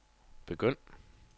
begynd